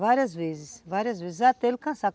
Várias vezes, várias vezes, até ele cansar.